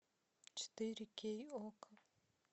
четыре кей окко